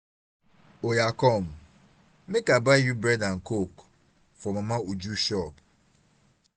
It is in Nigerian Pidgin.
oya come make i buy you bread and coke for mama uju shop